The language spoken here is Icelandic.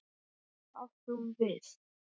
Hvað átti hún við?